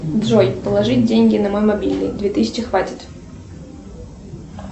джой положить деньги на мой мобильный две тысячи хватит